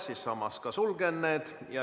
Siis ma ühtlasi sulgen need.